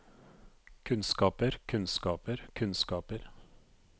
kunnskaper kunnskaper kunnskaper